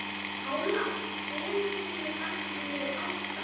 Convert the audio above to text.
Pála, hvenær kemur vagn númer átta?